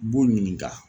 B'u ɲininka